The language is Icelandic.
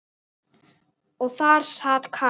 Og þar sat Katrín.